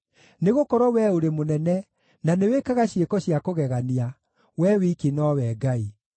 Nĩgũkorwo Wee ũrĩ mũnene, na nĩwĩkaga ciĩko cia kũgegania; Wee wiki nowe Ngai.